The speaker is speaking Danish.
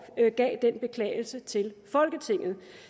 gav den beklagelse til folketinget